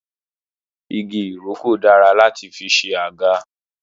Igi ìrókò dára láti fi ṣe àga